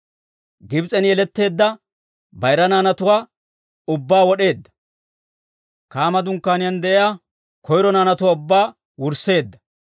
Gibs'en yeletteedda bayira naanatuwaa ubbaa wod'eedda. Kaama dunkkaaniyaan de'iyaa koyro naanatuwaa ubbaa wursseedda.